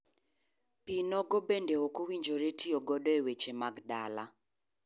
Pii nogo bende okowinjore tiyo godo e weche mag dala.